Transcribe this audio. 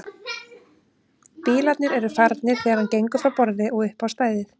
Bílarnir eru farnir þegar hann gengur frá borði og upp á stæðið.